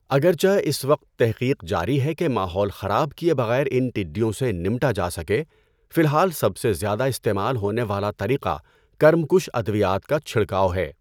اگرچہ اس وقت تحقیق جاری ہے کہ ماحول خراب کیے بغیر ان ٹڈّیوں سے نمٹا جا سکے، فی الحال سب سے زیادہ استعمال ہونے والا طریقہ کرم کُش ادویات کا چھڑکاؤ ہے۔